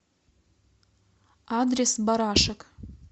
адрес барашек